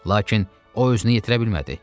Lakin o özünü yitirə bilmədi.